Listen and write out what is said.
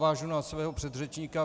Navážu na svého předřečníka.